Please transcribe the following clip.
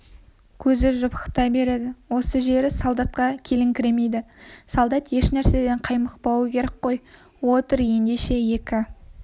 көзі жыпықтай береді осы жері солдатқа келіңкіремейді солдат еш нәрседен қаймықпауы керек қой отыр ендеше екі